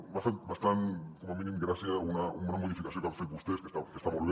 m’ha fet bastanta com a mínim gràcia una modificació que han fet vostès que està molt bé